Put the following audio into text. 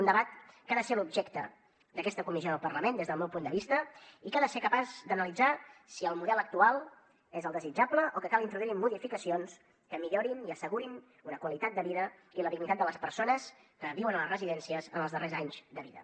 un debat que ha de ser l’objecte d’aquesta comissió del parlament des del meu punt de vista i que ha de ser capaç d’analitzar si el model actual és el desitjable o cal introduir modificacions que millorin i assegurin una qualitat de vida i la dignitat de les persones que viuen a les residències en els darrers anys de vida